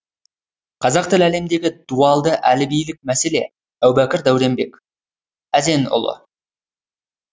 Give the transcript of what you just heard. қазақ тілі әлеміндегі дуалды әліпбилік мәселе әубәкір дәуренбек әзенұлы